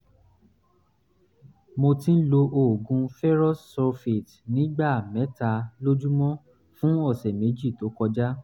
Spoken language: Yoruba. mo ti ń lo oògùn ferrous sulfate ní ìgbà mẹ́ta lójúmọ́ fún ọ̀sẹ̀ méjì tó kọjá